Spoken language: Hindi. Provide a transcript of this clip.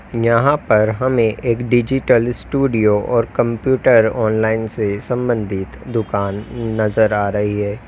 यहां पर हमें एक डिजिटल स्टूडियो और कंप्यूटर ऑनलाइन से संबंधित दुकान नजर आ रही है।